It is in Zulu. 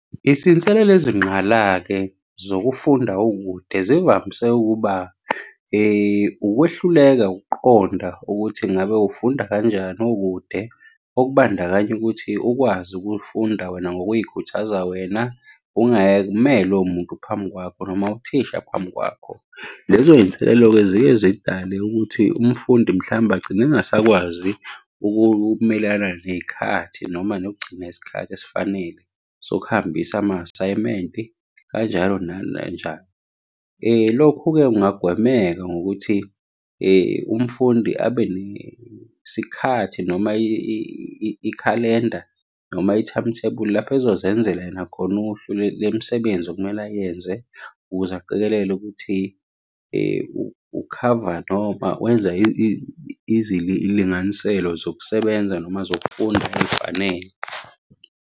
Izinselelo ezingqala-ke zokufunda ukude, zivamise ukuba ukwehluleka ukuqonda ukuthi ngabe ufunda kanjani ukude, okubandakanya ukuthi ukwazi ukufunda wena ngokuy'khuthaza wena, ungeke umelwe umuntu phambi kwakho, noma uthisha phambi kwakho. Lezo iy'nselelo-ke ziye zidale ukuthi umfundi mhlawumbe agcine engasakwazi ukumelelana ney'khathi noma nokugcina isikhathi esifanele sokuhambisa ama-asayimenti kanjalo . Lokhu-ke kungagwemeka ngokuthi umfundi abe nesikhathi noma ikhalenda, noma i-timetable lapho ezozenzela yena khona uhlu lemisebenzi okumele ayenze ukuze aqikelele ukuthi ukhava, noma wenza izilinganiselo zokusebenza noma zokufunda ey'fanele.